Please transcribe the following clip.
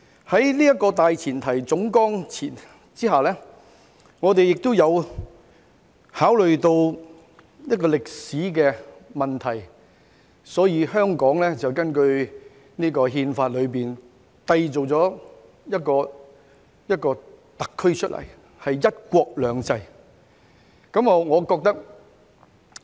"在這個大前提總綱下，亦考慮到一個歷史問題，所以根據這項《憲法》締造了一個香港特區出來，是"一國兩制"。